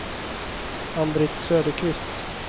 Ann-Britt Söderqvist